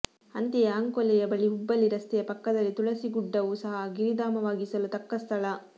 ಅಂತೆಯೇ ಅಂಕೋಲೆಯ ಬಳಿ ಹುಬ್ಬಳ್ಳಿ ರಸ್ತೆಯ ಪಕ್ಕದಲ್ಲಿ ತುಳಸಿಗುಡ್ಡವು ಸಹ ಗಿರಿಧಾಮವಾಗಿಸಲು ತಕ್ಕಸ್ಥಳ